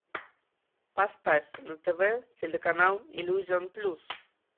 поставь на тв телеканал иллюзион плюс